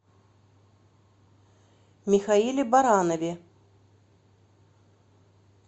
михаиле баранове